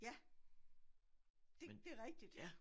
Ja det det rigtigt